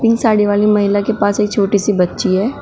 साड़ी वाली महिला के पास एक छोटी सी बच्ची है।